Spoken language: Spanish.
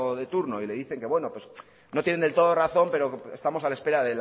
de turno y le dice que bueno que no tiene del todo razón pero estamos a la espera